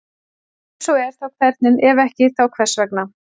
Ef svo er þá hvernig, ef ekki þá hvers vegna?